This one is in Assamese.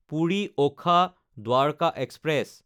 পুৰি–ওখা দ্বাৰকা এক্সপ্ৰেছ